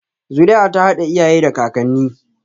Zuri'a ta haɗa iyaye da kakanni